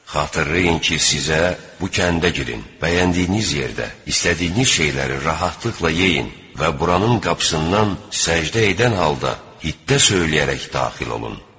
Xatırlayın ki, sizə: "Bu kəndə girin, bəyəndiyiniz yerdə istədiyiniz şeyləri rahatlıqla yeyin və buranın qapısından səcdə edən halda hittə söyləyərək daxil olun.